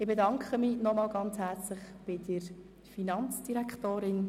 Ich bedanke mich noch einmal ganz herzlich bei der Finanzdirektorin.